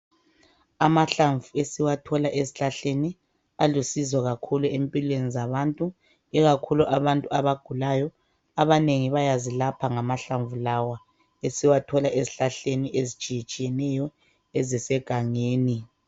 Amahlamvu esiwathola ezihlahleni alusizo kakhulu empilweni zabantu ikakhulu abantu abagulayo abanengi bayazilapha ngamahlamvu lawa esiwathola ezihlahleni ezitshiye tshiyeneyo ezise gangeni.